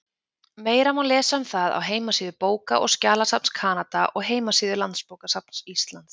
Meira má lesa um það á heimasíðu Bóka- og skjalasafns Kanada og heimasíðu Landsbókasafns Íslands.